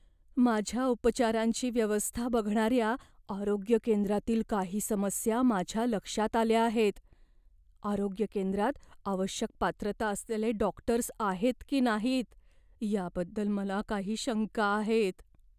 माझ्या उपचारांची व्यवस्था बघणाऱ्या आरोग्य केंद्रातील काही समस्या माझ्या लक्षात आल्या आहेत. आरोग्य केंद्रात आवश्यक पात्रता असलेले डॉक्टर्स आहेत की नाहीत याबद्दल मला काही शंका आहेत.